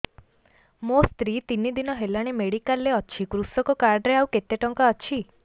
ମୋ ସ୍ତ୍ରୀ ତିନି ଦିନ ହେଲାଣି ମେଡିକାଲ ରେ ଅଛି କୃଷକ କାର୍ଡ ରେ ଆଉ କେତେ ଟଙ୍କା ଅଛି